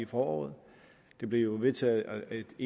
foråret det blev jo vedtaget af et